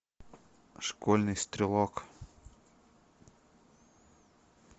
школьный стрелок